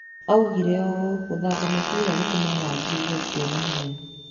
Augire ũũ, "Gũthaka mũbira gũtũmaga ndĩigue ndĩ na hinya."